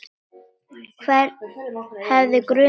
Hvern hefði grunað það?